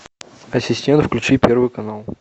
ассистент включи первый канал